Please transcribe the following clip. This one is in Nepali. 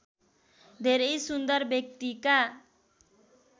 धेरै सुन्दर व्यक्तिका